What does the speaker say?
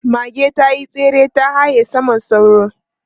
Mage ta yi tsere ta haye saman sauro.